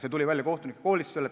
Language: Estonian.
See tuli välja kohtunike koolitusel.